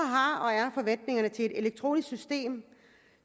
til et elektronisk system